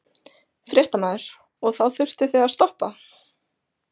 Fréttamaður: Og þá þurftuð þið að stoppa?